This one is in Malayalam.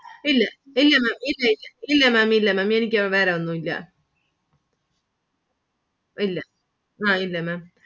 ഇല്ല ഇല്ല Maám ഇല്ല ഇല്ല ഇല്ല Maám എനിക്ക് വേറെ ഒന്നും ഇല്ല ഇല്ല അഹ് ഇല്ല Maám